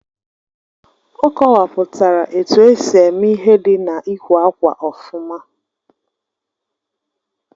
Ọ kọwapụtara etu esi eme ihe dị na-ịkwè ákwà ofuma